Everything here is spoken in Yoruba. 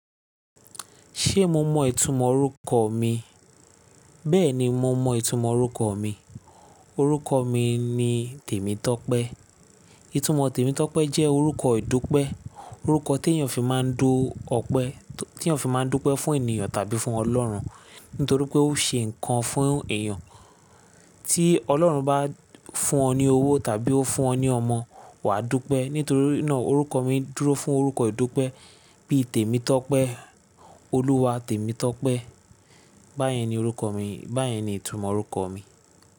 Ṣé mo mọ ìtumọ̀ orúkọ mi? Bẹ́ẹ̀ni, mo mọ ìtumọ̀ orúkọ mi. Orúkọ mi ni Tèmi Tọ́pẹ́. Ìtumọ̀ Tèmi Tọ́pẹ́ jẹ́ orúkọ ìdúpẹ́. Orúkọ t'èèyàn fi máa ń dú ọpẹ́, tí èèyàn fi máa ń dó pẹ́ fún ènìyàn tàbí fún Ọlọ́run nítorí pé ó ṣe nǹkan fún èèyàn. Tí Ọlọ́run bá fún ọ ní owó tàbí ó fún ọ ní ọmọ, wà á dúpẹ́. Nítorí náà orúkọ mi dúró fún orúkọ ìdúpẹ́ bí i Tèmi Tọ́pẹ́, Olúwa Tèmi Tọ́pẹ́. Báyẹn ni orúkọ mi, báyẹn ni ìtumọ̀ orúkọ mi.